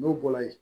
N'o bɔra yen